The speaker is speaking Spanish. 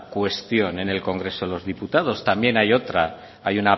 cuestión en el congreso de los diputados también hay otra hay